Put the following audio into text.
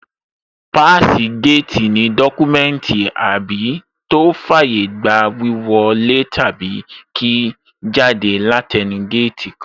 Páàsì géètì ní dọ́kúmẹ́ùntì àbí tó fàyé gba wíwọ lé tàbí kí jáde látẹẹnu géètì kan